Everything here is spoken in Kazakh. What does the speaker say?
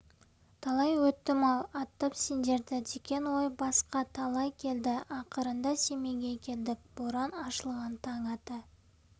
талай өттім-ау аттап сендерді деген ой басқа талай келді ақырында семейге келдік боран ашылған таң ата